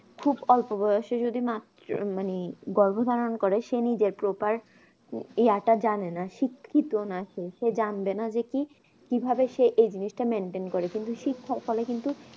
খুব অল্প বয়সে যদি মাত্র মানে গর্ভ ধারণ করে সে নিজের proper year তা জানে না সিকৃতন আছে সে জানবে না কি ভাবে সে জিনিসটা maintain করবে কিন্তু শিক্ষার ফলে কিন্তু